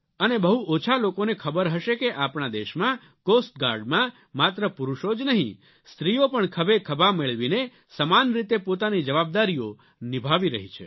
અને બહુ ઓછો લોકોને ખબર હશે કે આપણા દેશમાં કોસ્ટ ગાર્ડમાં માત્ર પુરૂષો જ નહીં સ્ત્રીઓ પણ ખભે ખભા મેળવીને સમાન રીતે પોતાની જવાબદારીઓ નિભાવી રહી છે